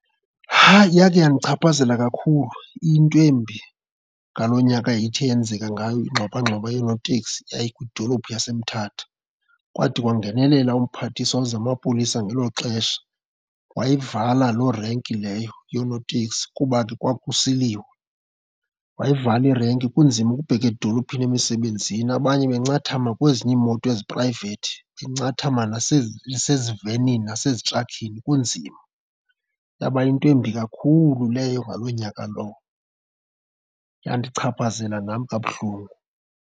Yakhe yandichaphazela kakhulu iyinto embi ngaloo nyaka ithe yenzeka ngayo ingxwabangxwaba yoonoteksi, yayikwidolophu saseMthatha. Kwade kwangenelela umphathiswa wezamapolisa ngelo xesha, wayivala loo irenki leyo yoonoteksi kuba ke kwakusiliwa. Wayivala irenki kunzima ukubheka edolophini, emisebenzini, abanye bancathama kwezinye iimoto eziphrayivethi, bencathama nasezivenini nasezitrakhini kunzima. Yaba yinto embi kakhulu leyo ngaloo nyaka lowo, yandichaphazela nam kabuhlungu.